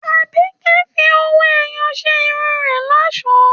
Àbíkẹ́ fi owó-ẹyọ ṣe irun rẹ̀ lọ́ṣọ̀ọ́